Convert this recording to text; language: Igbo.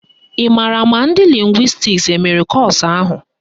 Ị maara ma ndị lịngwịstis emere kọ́ọ̀sụ̀ ahụ?